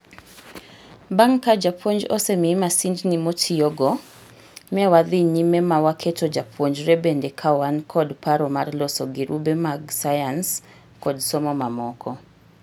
Bang' ka jopuonj ose mii masindni motiyogo, ne wadhi nyime ma waketo jopuonjre bende kawan kod paro mar loso girube mag sayans kod somo mamoko.